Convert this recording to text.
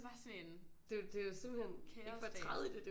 Det er bare sådan en kaos dag